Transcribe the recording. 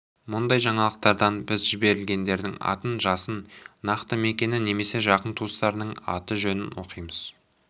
мұндай жаңалықтардан біз жәберлгендердің атын жасын нақты мекені немесе жақын туыстарының аты-жөнін оқимыз